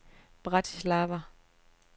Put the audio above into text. Bratislava